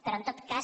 però en tot cas